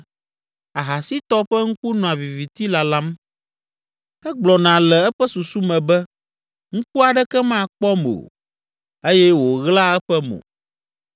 Ahasitɔ ƒe ŋku nɔa viviti lalam, egblɔna le eƒe susu me be, ‘Ŋku aɖeke makpɔm o,’ eye wòɣlaa eƒe mo.